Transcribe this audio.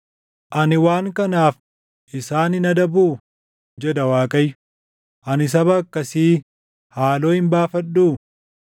Ani waan kanaaf isaan hin adabuu?” jedha Waaqayyo. “Ani saba akkasii haaloo hin baafadhuu?